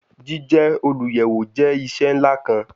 Jije oluyẹwo jẹ iṣẹ nla kan